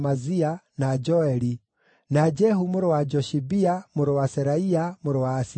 na Joeli; na Jehu mũrũ wa Joshibia, mũrũ wa Seraia, mũrũ wa Asieli;